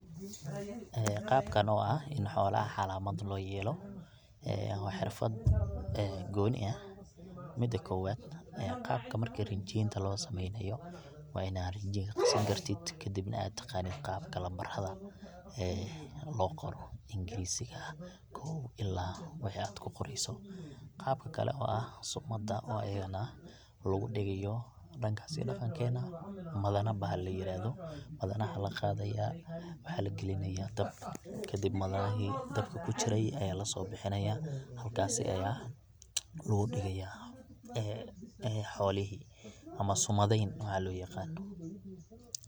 Ee Qabka oo ah in xoolaha calaamad looyelo ee waa xirfad ee gooni ah mida koowaad ee qabta marki rinjiyaynta loo samaynayo waa ina rajinka qasan kartid kadibna aa taqanid qabka lambaraha ee loo qoro ingrisiga ah kow ila waxii aad kuqorayso qabka kale oo ah sumada oo ayadana lagudigayo dhankas iyo dhaqankeena madane bahal layirahdo madanaha laqadaya waxaa lagilinaya dabka kadib madanahi dabka kujiray aya lasobixinaya halkasi aya lagudigaya ee xoolihi ama sumadayn waxa loo yaqano.